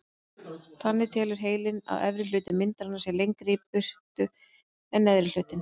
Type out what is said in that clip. Þannig telur heilinn að efri hluti myndarinnar sé lengra í burtu en neðri hlutinn.